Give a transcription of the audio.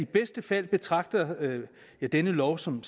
bedste fald betragter denne lov som